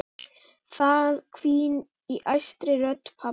Það hvín í æstri rödd pabba.